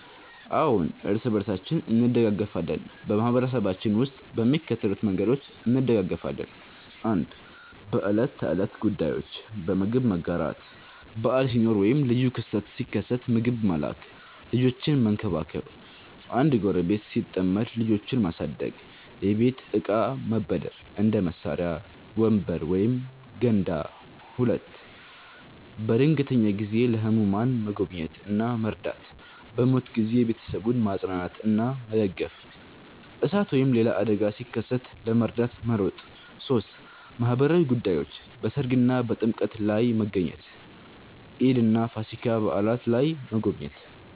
አዎን፣ እርስ በርሳችን እንደጋገፋለን በማህበረሰባችን ውስጥ በሚከተሉት መንገዶች እንደጋገፋለን፦ 1. በዕለት ተዕለት ጉዳዮች · በምግብ መጋራት – በዓል ሲኖር ወይም ልዩ ክስተት ሲከሰት ምግብ መላክ · ልጆችን መንከባከብ – አንድ ጎረቤት ሲጠመድ ልጆቹን ማሳደግ · የቤት እቃ መበደር – እንደ መሳሪያ፣ ወንበር ወይም ገንዳ 2. በድንገተኛ ጊዜ · ለህሙማን መጎብኘት እና መርዳት · በሞት ጊዜ ቤተሰቡን ማጽናናትና መደገፍ · እሳት ወይም ሌላ አደጋ ሲከሰት ለመርዳት መሮጥ 3. በማህበራዊ ጉዳዮች · በሠርግ እና በጥምቀት ላይ መገኘት · ኢድ እና ፋሲካ በዓላት ላይ መጎብኘት